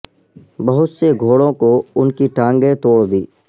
بہت سے گھوڑوں کو ان کی ٹانگیں توڑ دی